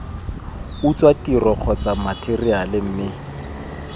utswa tiro kgotsa matheriale mme